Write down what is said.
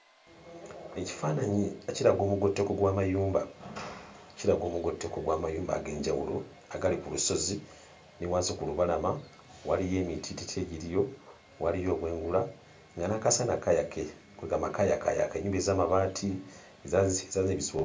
Ekifaananyi kiraga omugotteko gw'amayumba, kiraga omugotteko gw'amayumba ag'enjawulo agali ku lusozi. Ne wansi ku lubalama waliyo emitiititi egiriyo, waliyo obwengula, nga n'akasana kayaka, kwe ggamba kayakaayaka. Ennyumba ez'amabaati eza ezaazimbisibwa...